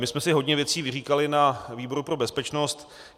My jsme si hodně věcí vyříkali na výboru pro bezpečnost.